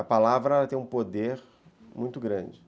A palavra tem um poder muito grande.